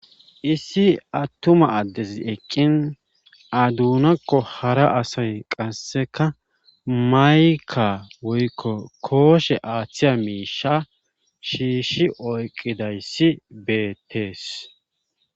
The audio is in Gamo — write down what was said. issi attuma addez eqqin adunakko hara asay qasseka mayka woykko kooshe aaththiya miisha shiishi oyqidayssi beettees